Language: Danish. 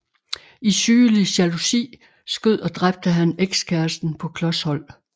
I sygelig jalousi skød og dræbte han ekskæresten på klos hold